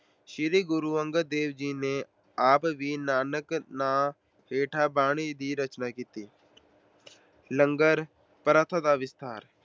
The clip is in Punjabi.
ਸ਼੍ਰੀ ਗੁਰੂ ਅੰਗਦ ਦੇਵ ਜੀ ਨੇ ਆਪ ਵੀ ਨਾਨਕ ਨਾਂ ਹੇਠ ਬਾਣੀ ਦੀ ਰਚਨਾ ਕੀਤੀ। ਲੰਗਰ ਪ੍ਰਥਾ ਦਾ ਵਿਸਥਾਰ-